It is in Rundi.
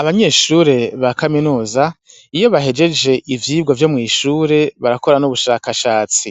Abanyeshure ba kaminuza iyo bahejeje ivyigwa vyo mw'ishure barakora n'ubushakashatsi,